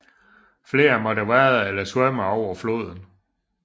Flere måtte vade eller svømme over floden